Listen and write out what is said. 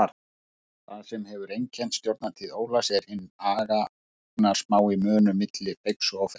Það sem hefur einkennt stjórnartíð Ólafs er hinn agnarsmái munur milli feigs og ófeigs.